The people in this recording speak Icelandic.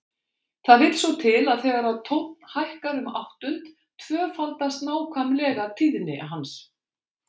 Það vill svo til að þegar tónn hækkar um áttund tvöfaldast nákvæmlega tíðni hans.